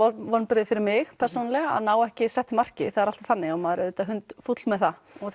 vonbrigði fyrir mig persónulega að ná ekki settu marki það er alltaf þannig að maður er auðvitað hundfúll með það